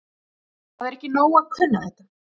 Það er ekki nóg að kunna þetta.